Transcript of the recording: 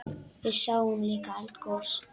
Við sáum líka eldgos!